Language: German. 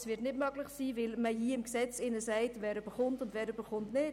Das wird nicht möglich sein, weil man hier im Gesetz sagt, wer was erhält und wer nicht.